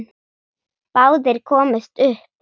Báðir komust upp.